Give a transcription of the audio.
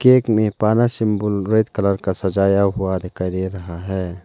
Cake में पाना symbol red colour का सजाया हुआ दिखाइए रहा है।